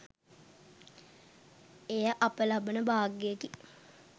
එය අප ලබන භාග්‍යයෙකි.